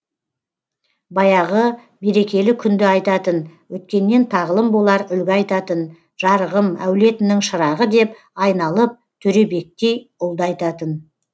баяғы берекелі күнді айтатын өткеннен тағлым болар үлгі айтатын жарығым әулетінің шырағы деп айналып төребектей ұлды айтатын